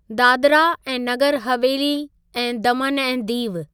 दादरा ऐं नगर हवेली ऐं दमन ऐं दीव